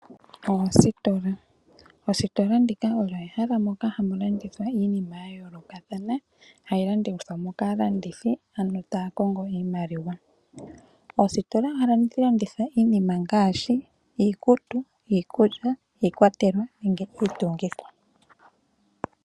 Oositola. Oositola ndika olyo ehala moka hamu landithwa iinima ya yoolokathana hayi landithwa kaalandithi ano taya kongo iimaliwa. Ositola ohamu landithwa iinima ngaashi iikutu, iikulya, iikwatelwa nenge iitungitho.